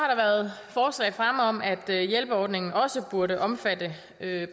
været forslag fremme om at hjælpeordningen også burde omfatte